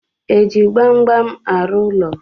Eji gbamgbam arụ ụlọ?